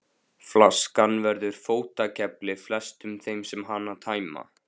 Flaskan verður fótakefli flestum þeim sem hana tæma.